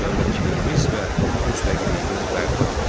Dövlətçiliyimiz və müstəqilliyimiz bərpa edildi.